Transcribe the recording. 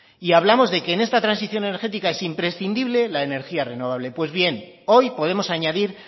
y hablamos de que en esta transición energética es imprescindible la energía renovable pues bien hoy podemos añadir